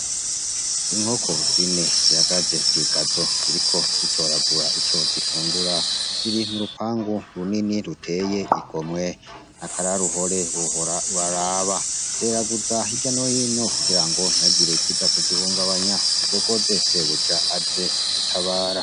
Inkoko zine zihagaze mwi gazo ziriko zitoragura ico zifungura, ziri mu rupangu runini ruteye igomwe, ni akaroruhore Wohora uraraba. Zeraguza hirya no hino kugira ngo ntihagire ikiza kuzihungabanya kuko zitezeko sebuja aza kuzitabara.